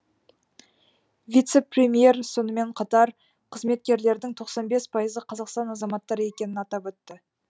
вице премьер сонымен қатар қызметкерлердің тоқсан бес пайызы қазақстан азаматтары екенін атап өтті